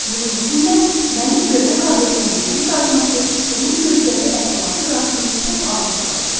Bunun üçün də mənim görmə qabiliyyətimin geri qayıtması onun möcüzəvi əhvalatı qarşısında çox aciz qalırdı.